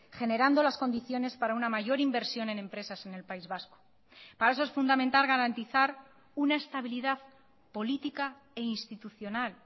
generando las condiciones para una mayor inversión en empresas en el país vasco para eso es fundamental garantizar una estabilidad política e institucional